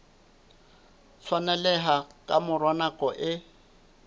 tshwaneleha ka mora nako e